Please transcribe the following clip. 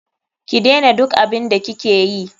Ki dena duk abun da ki keyi.